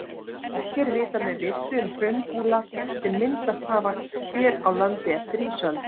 Ekki er vitað með vissu um hraungúla sem myndast hafa hér á landi eftir ísöld.